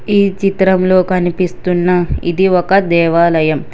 ఈ చిత్రంలో కనిపిస్తున్న ఇది ఒక దేవాలయం.